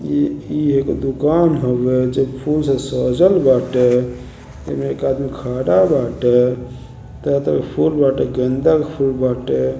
ई ई एगो दुकान हउए जो फूल से सजल बाटे एमे एक आदमी खड़ा बाटे। तरह-तरह के फूल बाटे। गेंद के फूल बाटे।